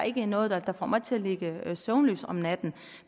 ikke noget der får mig til at ligge søvnløs om natten